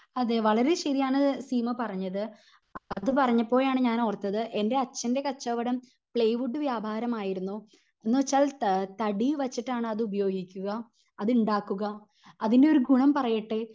അതേ വളരേ ശെരിയാണ് ശീമ പറഞ്ഞത് അത് പറഞ്ഞപ്പോഴാണ് ഞാൻ ഓർത്തത് എൻ്റെ അച്ഛൻ്റെ കച്ചവടം പ്ലൈവുഡ്ഡ് വ്യാപാരം ആയിരുന്നു എന്ന് വെച്ചാൽ ത തടി വെച്ചിട്ടാണ് അത് ഉപയോഗിക്കുക അത് ഇണ്ടാകുക അതിൻ്റെ ഒരു ഗുണം പറയട്ടെ